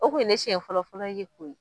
O kun ye ne siɲɛ fɔlɔ fɔlɔ ye koyi